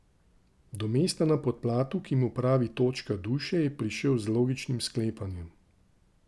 Do mesta na podplatu, ki mu pravi točka duše, je prišel z logičnim sklepanjem.